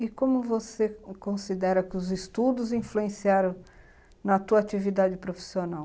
E como você considera que os estudos influenciaram na tua atividade profissional?